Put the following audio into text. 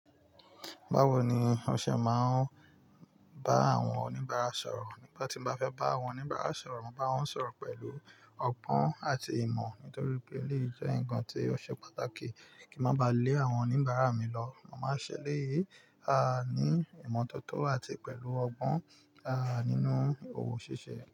Báwo ni ọṣẹ máa ń bá àwọn oníbàárà sọ̀rọ̀? Nígbà tí n bá fẹ́ bá àwọn oníbàárà sọ̀rọ̀, mo báwọn sọ̀rọ̀ pẹ̀lú ọgbọ́n àti ìmọ̀ nítorí pé eleyii jẹ́ ǹkan tí ó ṣe pàtàkì kí máa ba lé àwọn oníbàárà mi lọ. Mo máa ń ṣẹ elẹyìí àh ní ìmọ́tótó àti pẹ̀lú ọgbọ́n ah nínú ohun ṣíṣe.